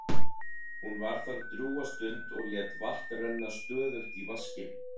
Hún var þar drjúga stund og lét vatn renna stöðugt í vaskinn.